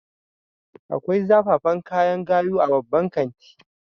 Akwai zafafan kayan gayu a babban kanti